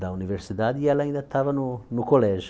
da universidade e ela ainda estava no no colégio.